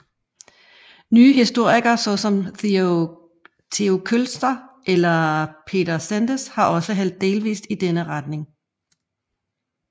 Nyere historikere såsom Theo Kölzer eller Peter Csendes har også hældt delvist i denne retning